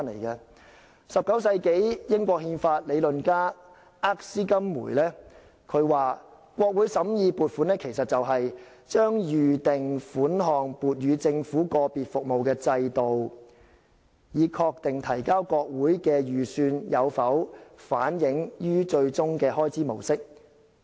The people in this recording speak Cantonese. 在19世紀，英國憲法理論家厄斯金梅說，國會審議的撥款其實是"把預定款項撥予政府個別服務的制度，以確定提交國會的預算有否反映於最終的開支模式。